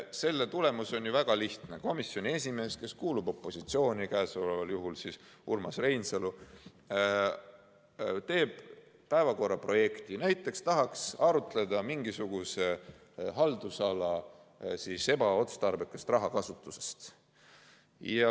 Selle tulemus on ju väga lihtne: komisjoni esimees, kes kuulub opositsiooni, käesoleval juhul Urmas Reinsalu, teeb päevakorraprojekti, näiteks tahaks arutada mingisuguse haldusala ebaotstarbekat rahakasutust.